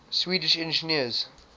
swedish engineers